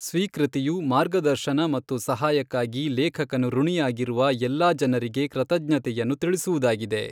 ಸ್ವೀಕೃತಿಯು ಮಾರ್ಗದರ್ಶನ ಮತ್ತು ಸಹಾಯಕ್ಕಾಗಿ ಲೇಖಕನು ಋಣಿಯಾಗಿರುವ ಎಲ್ಲ ಜನರಿಗೆ ಕೃತಜ್ಞತೆಯನ್ನು ತಿಳಿಸುವುದಾಗಿದೆ.